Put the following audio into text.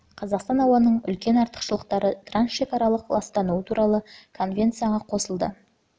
жылы қазақстан ауаның үлкен арақашықтықтағы трансшекаралық ластануы туралы конвенцияға қосылды конвенциясы